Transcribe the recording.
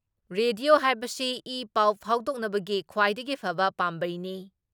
Radio ꯍꯥꯏꯕꯁꯤ ꯏ ꯄꯥꯎ ꯐꯥꯎꯗꯣꯛꯅꯕꯒꯤ ꯈ꯭ꯋꯥꯏꯗꯒꯤ ꯐꯕ ꯄꯥꯝꯕꯩꯅꯤ ꯫